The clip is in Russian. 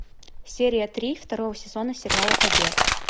серия три второго сезона сериала побег